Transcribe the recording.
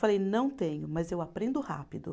Falei, não tenho, mas eu aprendo rápido.